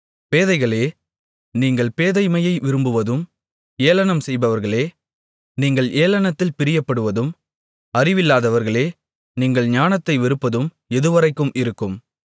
பேதைகளே நீங்கள் பேதைமையை விரும்புவதும் ஏளனம் செய்பவர்களே நீங்கள் ஏளனத்தில் பிரியப்படுவதும் அறிவில்லாதவர்களே நீங்கள் ஞானத்தை வெறுப்பதும் எதுவரைக்கும் இருக்கும்